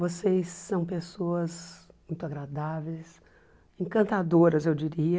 Vocês são pessoas muito agradáveis, encantadoras, eu diria.